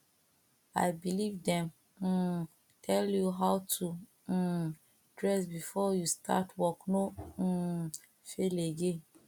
i believe dem um tell you how to um dress before you start work no um fail again